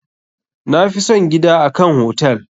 Na fi son gida a kan hotel.